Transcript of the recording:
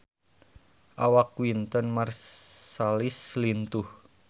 Awak Wynton Marsalis lintuh